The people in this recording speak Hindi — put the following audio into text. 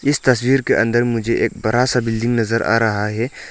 इस तस्वीर के अंदर मुझे एक बरा सा बिल्डिंग नजर आ रहा है।